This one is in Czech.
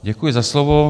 Děkuji za slovo.